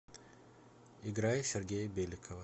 играй сергея беликова